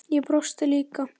Ég brosti líka.